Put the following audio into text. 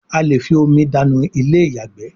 a lẹ fí omi dànù Ilé-ìyàgbé